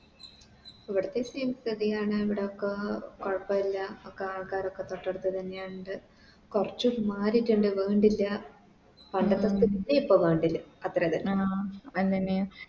എവിട്ത്തെ സ്ഥിതിയാണ് എവിടൊക്കെ കൊഴപ്പില്ല ഒക്കെ ആൾക്കാരൊക്കെ തൊട്ടടുത്ത് തന്നെ ഇണ്ട് കൊർച്ച് മാറിറ്റിണ്ടെ വേണ്ടില്ല പണ്ടത്തെ പ്പോ വേണ്ടില്ല